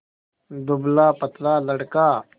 दुबलापतला लड़का